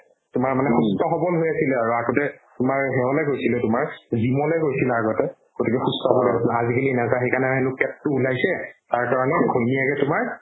তোমাৰ মানে সুস্থ সবল হৈ আছিল আৰু আগতে তোমাৰ সেহলে গৈছিলে তোমাৰ gym লে গৈছিলে আগতে গতিকে সুস্থ সবল হৈ আছিলে আজিকালি নাযায় সেইকাৰণে হেনু পেটতো ওলাইছে তাৰ কাৰণে ঘৈণীয়েকে তোমাৰ